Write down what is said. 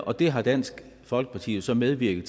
og det har dansk folkeparti jo så medvirket